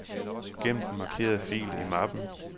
Gem den markerede fil i mappen.